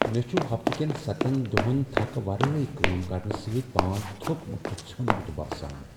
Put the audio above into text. مےٚ چھ ہفتہٕ كین ستن دوہن تھكھہٕ ورٲیۍ كٲم كرنہٕ سۭتۍ پان تھوٚکمت تہٕ ژھیوٚنمت باسان۔